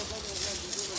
Orda idi, ora.